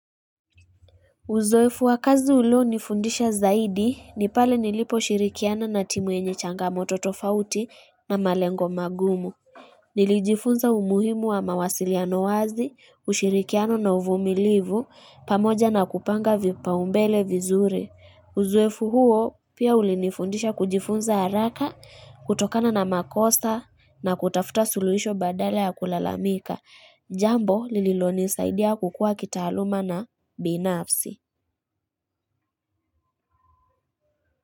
Uzoefu wa kazi ulio nifundisha zaidi, nipale nilipo shirikiana na timu yenye changamoto tofauti na malengo magumu. Nilijifunza umuhimu wa mawasiliano wazi, ushirikiano na uvumilivu, pamoja na kupanga vipaumbele vizuri Uzoefu huo pia ulinifundisha kujifunza haraka, kutokana na makosa na kutafuta suluhisho badala ya kulalamika. Jambo lililonisaidia kukua kitaaluma na binafsi.